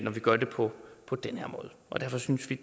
gør det på på den her måde og derfor synes vi